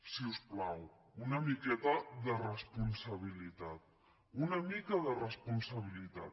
si us plau una miqueta de responsabilitat una mica de responsabilitat